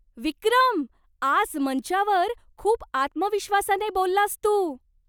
विक्रम! आज मंचावर खूप आत्मविश्वासाने बोललास तू!